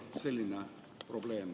Selline probleem.